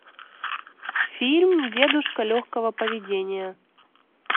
фильм дедушка легкого поведения